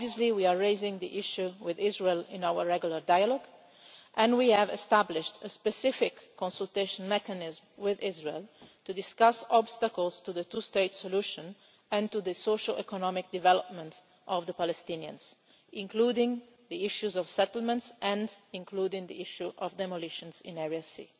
We are raising the issue with Israel in our regular dialogue, and we have established a specific consultation mechanism with Israel to discuss obstacles to the two state solution and to the socioeconomic development of the Palestinians, including the issue of settlements and the issue of demolitions in Area C.